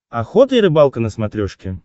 охота и рыбалка на смотрешке